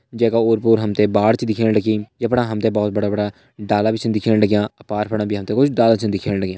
जै का ओर पोर हम ते बाढ़ छ दिखेण लगीं जफणा हम ते बहोत बड़ा बड़ा डाला भी छन दिखेण लग्यां अर पार फणा भी हम ते कुछ डाला छ दिखेण लग्यां।